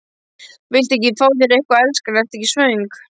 Viltu ekki fá þér eitthvað, elskan, ertu ekki svöng?